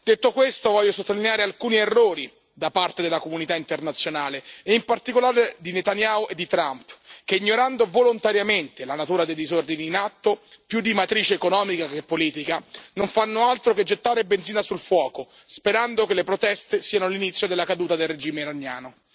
Detto questo, voglio sottolineare alcuni errori da parte della comunità internazionale, e in particolare di Netanyahu e di Trump, che ignorando volontariamente la natura dei disordini in atto, più di matrice economica che politica, non fanno altro che gettare benzina sul fuoco sperando che le proteste siano l'inizio della caduta del regime iraniano.